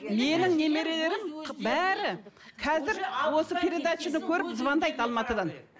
менің немерелерім қ бәрі қазір осы передачаны көріп звондайды алматыдан